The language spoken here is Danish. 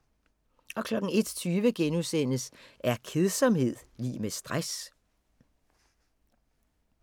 01:20: Er kedsomhed lig med stress? *